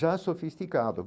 Já sofisticado.